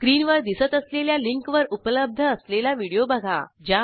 स्क्रीनवर दिसत असलेल्या लिंकवर उपलब्ध असलेला व्हिडिओ बघा